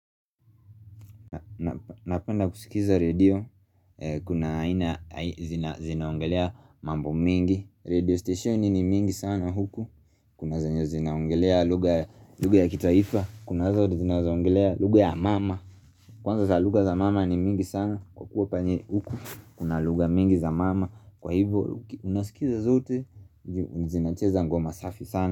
Napenda kusikiza radio Kuna ina zinaopngelea mambo mingi Radio station ni mingi sana huku Kuna zenye zina ongelea lugha ya kitaifa Kuna zinaongelea lugha ya mama Kwanza za lugha za mama ni mingi sana Kwa kuwa penye huku Kuna lugha mingi za mama Kwa hivyo unasikiza zote zina cheza ngoma safi sana.